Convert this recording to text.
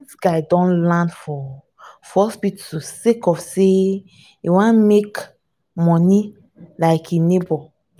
dis guy don land for for hospital sake of sey e wan make moni like im nebor.